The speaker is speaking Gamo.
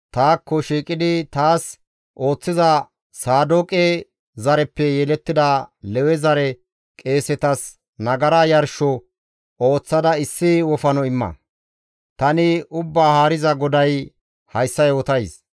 taakko shiiqidi, taas ooththiza Saadooqe zareppe yelettida Lewe zare qeesetas nagara yarsho ooththada issi wofano imma. Tani Ubbaa Haariza GODAY hayssa yootays.